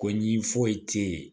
Ko ɲi foyi te yen